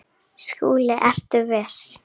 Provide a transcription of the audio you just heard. SKÚLI: Ertu viss?